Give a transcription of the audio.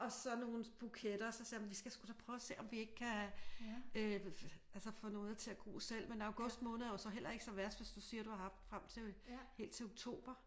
Og så nogle buketter og så sagde jeg vi skal sgu da prøve og se om vi ikke kan øh altså få noget til at gro selv men august måned er jo så heller ikke så værst hvis du siger du har haft frem til helt til oktober